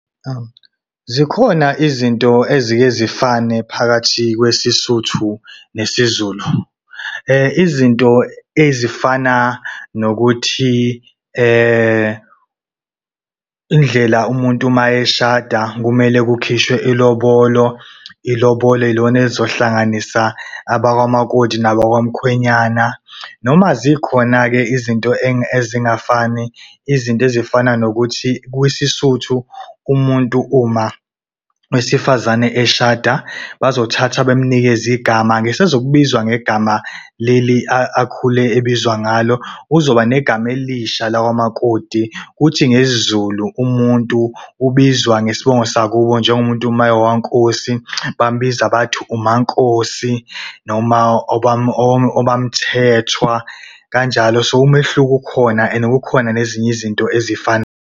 Zikhona izinto ezike zifane phakathi kwesiSuthu nesiZulu. Izinto ezifana nokuthi , indlela umuntu uma eshada kumele kukhishwe ilobolo. Ilobolo yilona elizohlanganisa abakwa makoti nabakwamkhwenyana. Noma zikhona-ke izinto ezingafani, izinto ezifana nokuthi kwisiSuth umuntu uma wesifazane eshada bazothatha bemnikeze igama. Akasezukubizwa ngegama leli akhule ebizwa ngalo. Uzoba negama elisha lakwamakoti kuthi ngesiZulu umuntu ubizwa ngesibongo sakubo njengomuntu uma engowakaNkosi, bamubiza bathi umaNkosi noma omaMthethwa kanjalo. So umehluko ukhona and kukhona nezinye izinto ezifana .